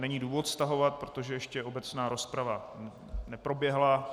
Není důvod stahovat, protože ještě obecná rozprava neproběhla.